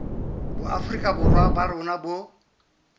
boafrika borwa ba rona bo